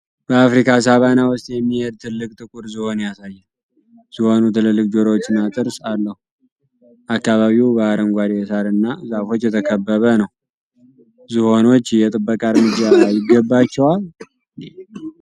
በአፍሪካ ሳቫና ውስጥ የሚሄድ ትልቅ ጥቁር ዝሆን ያሳያል። ዝሆኑ ትልልቅ ጆሮዎችና ጥርስ አለው። አካባቢው በአረንጓዴ ሳርና ዛፎች የተከበበ ነው። ዝሆኖች የጥበቃ እርምጃ ይገባቸዋል?